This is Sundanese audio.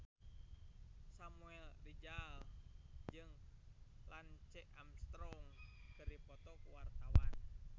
Samuel Rizal jeung Lance Armstrong keur dipoto ku wartawan